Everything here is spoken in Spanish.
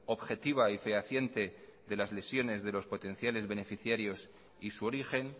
objetiva y fehaciente de las lesiones de los potenciales beneficiarios y su origen